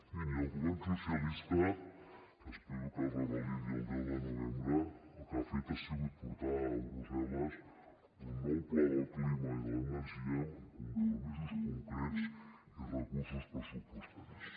miri el govern socialista que espero que es revalidi el deu de novembre el que ha fet ha sigut portar a brussel·les un nou pla del clima i de l’energia amb compromisos concrets i recursos pressupostaris